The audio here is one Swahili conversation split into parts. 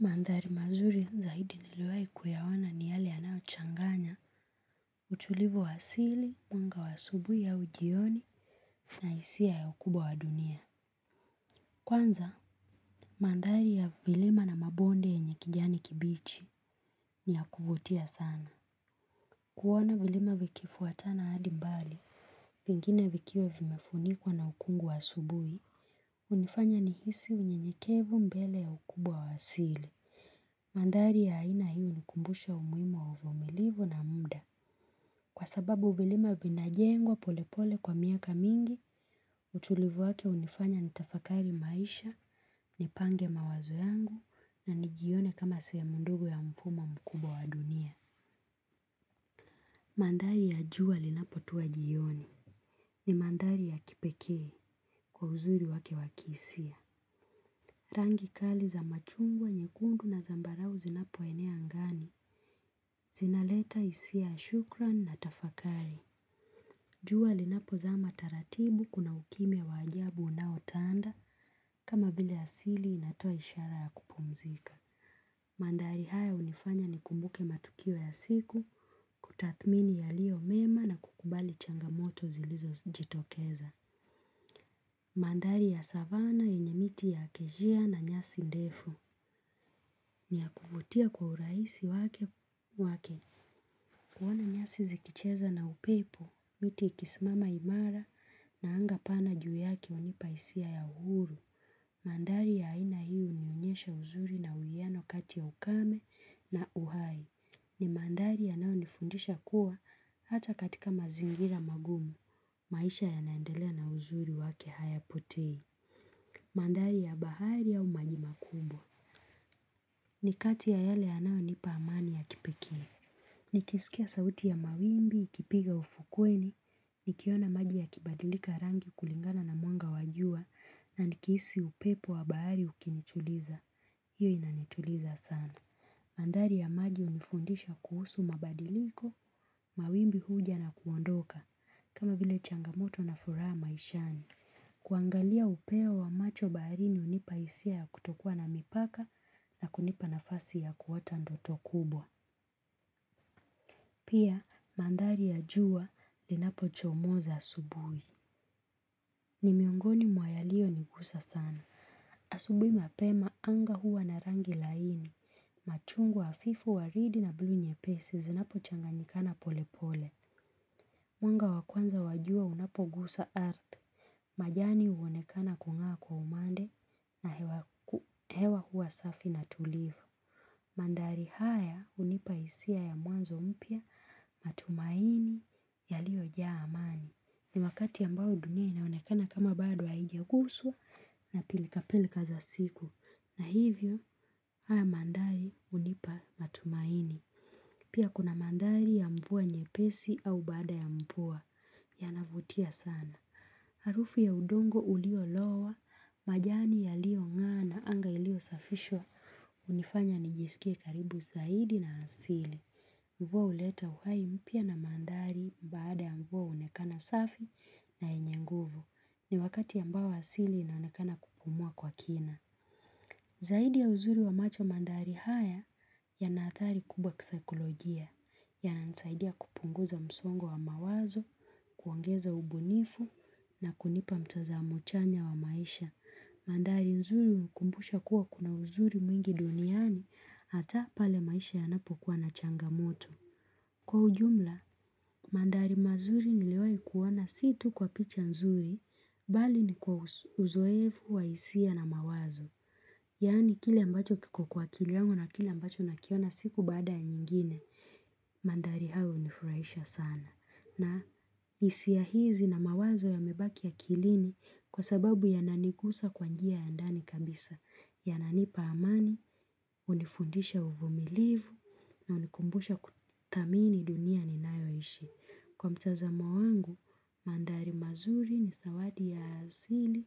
Mandhari mazuri zaidi niliwahi kuyaona ni yale yanayochanganya, utulivu wa asili, mwanga wa asubuhi ya jioni na hisia ya ukubwa wa dunia. Kwanza, mandhari ya vilima na mabonde yenye kijani kibichi ni ya kuvutia sana. Kuwa na vilima vikifuatana hadi mbali, pingine vikiwa vimefunikuwa na ukungu wa asubuhi, hunifanya nihisi unyenyekevu mbele ya ukubwa wa asili. Mandhari ya aina hunikumbusha umuhimu wa uvumilivu na muda. Kwa sababu vilima vinajengwa polepole kwa miaka mingi, utulivu wake hunifanya nitafakari maisha, nipange mawazo yangu, na nijione kama sehemu ndogo ya mfumo mkubwa wa dunia. Mandhari ya jua linapotuwa jioni. Ni mandhari ya kipekee kwa uzuri wake wa kisia. Rangi kali za machungwa nyekundu na zambarau zinapo enea angani. Zinaleta hisia ya shukrani na tafakari. Jua linapozama taratibu kuna ukimya wa ajabu unaotanda kama vile asili inatoa ishara ya kupumzika. Mandhari haya hunifanya nikumbuke matukio ya siku kutathmini yaliyo mema na kukubali changamoto zilizojitokeza. Mandhari ya savana yenye miti ya kejia na nyasi ndefu ni ya kufutia kwa urahisi wake wake kuona nyasi zikicheza na upepo miti ikisimama imara na anga pana juu yake hunipa hisia ya uhuru. Mandhari ya aina hii inaonyesha uzuri na uwiano kati ya ukame na uhai. Ni mandhari yanayonifundisha kuwa hata katika mazingira magumu. Maisha yanaendelea na uzuri wake hayapotei. Mandhari ya bahari au maji makubwa. Ni kati ya yale yanayonipa amani ya kipekee. Nikisikia sauti ya mawimbi, ikipiga ufukweni, nikiona maji yakibadilika rangi kulingana na mwanga wa jua na nikihisi upepo wa bahari ukinituliza. Hiyo inanituliza sana. Mandhari ya maji hunifundisha kuhusu mabadiliko, mawimbi huja na kuondoka. Kama vile changamoto na furaha maishani. Kuangalia upeo wa macho baharini hunipa hisia ya kutokua na mipaka na kunipa nafasi ya kuota ndoto kubwa. Pia mandhari ya jua linapochomoza asubuhi. Ni miongoni mwa yaliyonigusa sana. Asubuhi mapema anga huwa na rangi laini. Machungwa wa hafifu waridi na bluu nyepesi zinapochanganikana polepole. Mwanga wa kwanza wajua unapogusa ardhi. Majani huonekana kung'aa kwa umande na hewa huwa safi na tulivu. Mandhari haya hunipa hisia ya mwanzo mpya matumaini yaliyojaa amani. Ni wakati ambao dunia inaonekana kama bado haijaguswa na pilika pilika za siku. Na hivyo haya mandhari hunipa matumaini. Pia kuna mandhari ya mvua nyepesi au baada ya mvua yanavutia sana. Harufu ya udongo uliolowa, majani yaliyong'aa na anga iliyosafishwa hunifanya nijisikie karibu zaidi na asili. Mvua huleta uhai mpya na mandhari baada ya mvua huonekana safi na yenye nguvu. Ni wakati ambao asili inaonekana kupumua kwa kina. Zaidi ya uzuri wa macho mandhari haya yana athari kubwa kisaikolojia yananisaidia kupunguza msongo wa mawazo, kuongeza ubunifu na kunipa mtazamo chanya wa maisha. Mandhari nzuri hukumbusha kuwa kuna uzuri mwingi duniani hata pale maisha yanapokuwa na changamoto. Kwa ujumla, mandari mazuri niliyowahi kuona si tu kwa picha nzuri, bali ni kwa uzoefu wa hisia na mawazo. Yani kile ambacho kiko kwa akili yangu na kile ambacho nakiona siku baada ya nyingine. Mandhari hayo hunifurahisha sana. Na hisia hizi na mawazo yamebaki akilini kwa sababu yananigusa kwa njia ya ndani kabisa. Yananipa amani, hunifundisha uvumilivu. Na hunikumbusha kuthamini dunia ninayo ishi. Kwa mtazamo wangu, mandhari mazuri ni zawadi ya asili.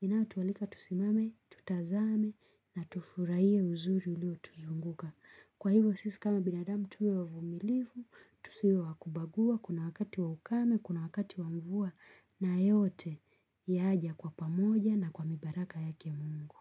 Inatotualika tusimame, tutazame na tufurahie uzuri ulio tuzunguka. Kwa hivyo sisi kama binadamu tuwe wavumilivu, tusiwe wa kubagua, kuna wakati wa ukame, kuna wakati wa mvua na yote yaja kwa pamoja na kwa mibaraka yake Mungu.